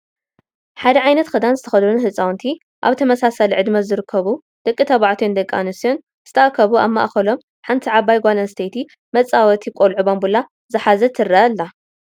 ሓደ ዓይነት ክዳን ዝተኸደኑ ህፃውንቲ ኣብ ተመሳሳሊ ዕድመ ዝርከቡ ደቂ ተባዕትዮን ደቂ ኣነስትዮን ዝተኣከቡ ኣብ ማእከሎም ሓንቲ ዓባይ ጓል ኣነስተይቲ መፅወቲ ቆሉዑ ባምቡላ ዝሓዘት ትራ ኣይ ኣላ::